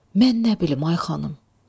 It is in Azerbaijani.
Mən nə bilim, ay xanım.